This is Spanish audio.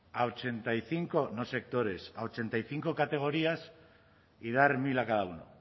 a ochenta y cinco no sectores categorías y dar mil a cada uno